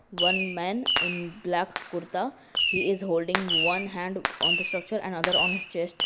one man in black kurta he is holding one hand on the structure and other on chest.